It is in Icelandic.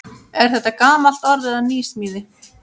Er þetta gamalt orð eða nýsmíði?